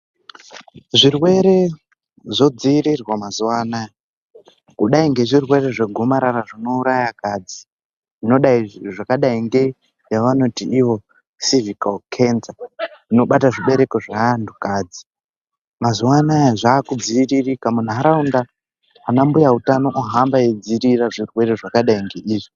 Zvirwere zvodzirirwa mazuva anaya kudai ngezvirwere zvegomarara zvinouraya akadzi. Zvakadai ngeyavanoti ivo sevikalu kenza inobata zvibereko zveantukadzi. Mazuwa anaya zvakudziiririka muntaraunda ana mbuya utano ohamba eidzirira zvirwere zvakadai ngeizvi.